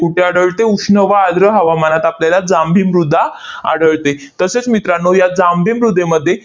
कुठे आढळते? उष्ण व आर्द्र हवामानात आपल्याला जांभी मृदा आढळते. तसेच मित्रांनो, या जांभी मृदेमध्ये